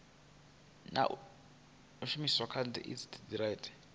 na u shumiswa kha indasiteri